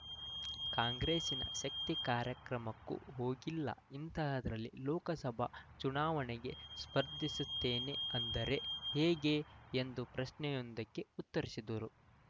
ಕಾಂಗ್ರೆಸಿನ ಶಕ್ತಿ ಕಾರ್ಯಕ್ರಮಕ್ಕೂ ಹೋಗಿಲ್ಲ ಇಂಥದ್ದರಲ್ಲಿ ಲೋಕಸಭಾ ಚುನಾವಣೆಗೆ ಸ್ಪರ್ಧಿಸುತ್ತೇನೆ ಅಂದರೆ ಹೇಗೆ ಎಂದು ಪ್ರಶ್ನೆಯೊಂದಕ್ಕೆ ಉತ್ತರಿಸಿದ್ದರು